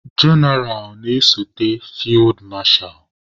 Jenaral na-esote fid masha.